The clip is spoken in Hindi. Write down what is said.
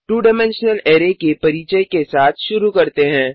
2 डाइमेंशनल अरै के परिचय के साथ शुरू करते हैं